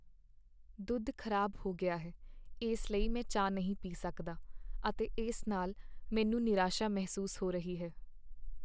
ਦੁੱਧ ਖ਼ਰਾਬ ਹੋ ਗਿਆ ਹੈ ਇਸ ਲਈ ਮੈਂ ਚਾਹ ਨਹੀਂ ਪੀ ਸਕਦਾ ਅਤੇ ਇਸ ਨਾਲ ਮੈਨੂੰ ਨਿਰਾਸ਼ਾ ਮਹਿਸੂਸ ਹੋ ਰਹੀ ਹੈ।